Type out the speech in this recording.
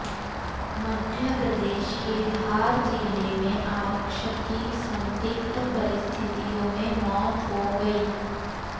मध्य प्रदेश के धार जिले में आरक्षक की संदिग्ध परिस्थितियों में मौत हो गई